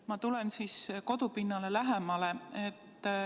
Ma tulen siis kodupinnale lähemale.